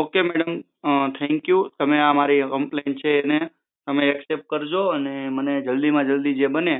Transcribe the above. okay madam thank you તમે મારી આ જે કમ્પ્લેન જે છે એને એક્સેપ્ટ કરજો અને મને જલ્દીમાં જલ્દી જે બને